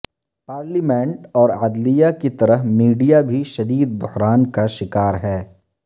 parliament اور عدلیہ کی طرح میڈیا بھی شدید بحران کا شکار ہے